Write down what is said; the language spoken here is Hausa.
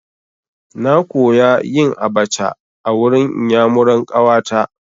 Na koya yin abaca a wurin iyamuran ƙawa ta.